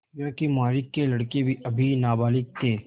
योंकि मालिक के लड़के अभी नाबालिग थे